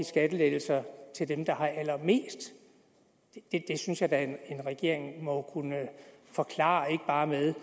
skattelettelser til dem der har allermest det synes jeg da en regering må kunne forklare med